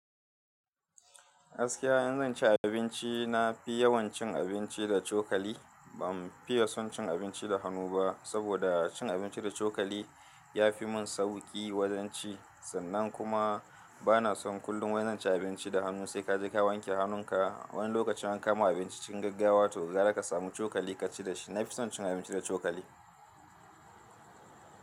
Gaskiya in zan ci abinci, na fi yawan cin abinci da cokali. Ban fiye son cin abinci da hannu ba, saboda cin abinci da cokali ya fi mun sauki wajen ci. Sannan kuma bana son kullum wai zan ci abinci da hannu, sai kaje ka wanke hannun ka. Wani lokacin an kawo ma abinci cikin gaggawa toh gara ka samu cokali ka ci dashi. Na fi son cin abinci da cokali.